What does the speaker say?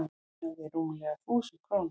Munaði rúmlega þúsund krónum